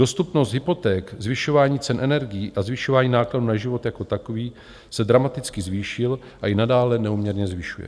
Dostupnost hypoték, zvyšování cen energií a zvyšování nákladů na život jako takový se dramaticky zvýšil a i nadále neúměrně zvyšuje.